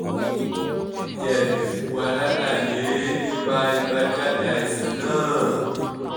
ǹjẹ́ ẹ lè fún wa ní àlàyé nípa àbájáde àìsàn náà?